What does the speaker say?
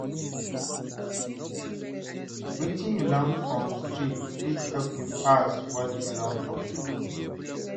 Wetin you learn for street fit help you pass what you learn for school.